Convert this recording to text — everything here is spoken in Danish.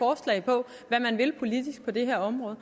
man man vil politisk på det her område